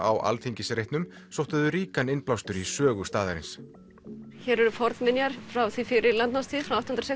á Alþingisreitnum sóttu þau ríkan innblástur í sögu staðarins hér eru fornminjar frá því fyrir landnámstíð frá átján hundruð